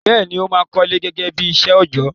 Bẹ́ẹ̀ni, ó máà kọ́lé gẹ́gẹ́ bí iṣẹ́ òjọ́.